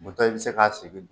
Muto i bɛ se k'a sigi.